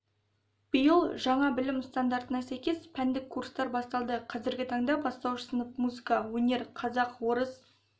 биыл жаңа білім стандарына сәйкес пәндік курстар басталды қазіргі таңда бастауыш сынып музыка өнер қазақ орыс